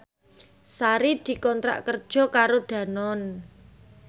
Sari dikontrak kerja karo Danone